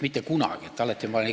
Mitte kunagi ei ole!